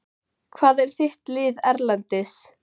Hvað er þitt lið Erlendis?